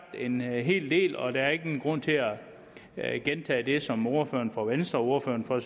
en hel del og der er ingen grund til at gentage det som ordføreren for venstre og ordføreren for